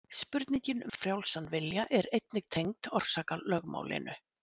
Spurningin um frjálsan vilja er einnig tengd orsakalögmálinu.